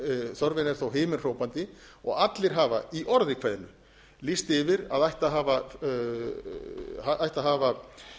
þörfin er þó himinhrópandi og allir hafa í orði kveðnu lýst yfir að ætti að hafa